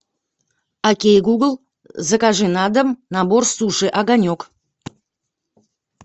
окей гугл закажи на дом набор суши огонек